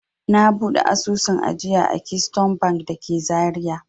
Na buɗe asusun ajiya a Keystone Bank da ke Zariya.